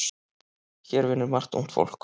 Hér vinnur margt ungt fólk.